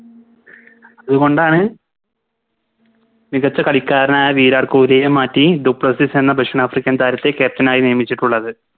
അതുകൊണ്ടാണ് മികച്ച കളിക്കാരനായ വിരാട്ട് കോഹ്ലിനെ മാറ്റി ഡു പ്ലസീസ് എന്ന ദക്ഷിണാഫ്രിക്കൻ താരത്തെ Captain ആയി നിയമിച്ചിട്ടുള്ളത്